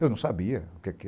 Eu não sabia o que que